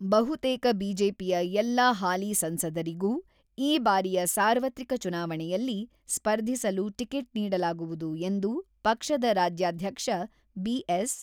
ಬಹುತೇಕ ಬಿಜೆಪಿಯ ಎಲ್ಲಾ ಹಾಲಿ ಸಂಸದರಿಗೂ ಈ ಬಾರಿಯ ಸಾರ್ವತ್ರಿಕ ಚುನಾವಣೆಯಲ್ಲಿ ಸ್ಪರ್ಧಿಸಲು ಟಿಕೆಟ್ ನೀಡಲಾಗುವುದು ಎಂದು ಪಕ್ಷದ ರಾಜ್ಯಾಧ್ಯಕ್ಷ ಬಿ.ಎಸ್.